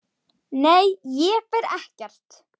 Nei, ég fer ekkert.